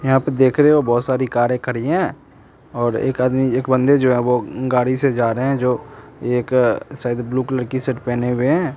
यहाँ पे देख रहे हो बहुत सारी कारें खड़ीं हैं और एक आदमी एक बन्दे जो हैं वो गाड़ी से जा रहे हैं जो एक शायद ब्लू कलर की शर्ट पहने हुए हैं।